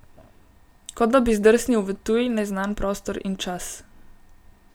Kot da bi zdrsnil v tuj, neznan prostor in čas.